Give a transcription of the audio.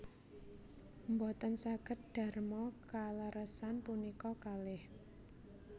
Mboten saged darma kaleresan punika kalih